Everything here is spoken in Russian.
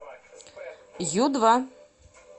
ю два